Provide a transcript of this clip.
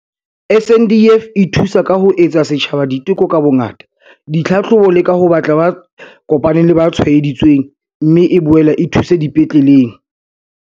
SANDF e thusa ka ho etsa setjhaba diteko ka bongata, ditlhahlobo le ka ho batla ba kopaneng le ba tshwaedi tsweng, mme e boela e thuso dipetleleng.